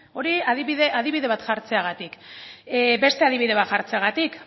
hori adibide bat jartzeagatik beste adibide bat jartzeagatik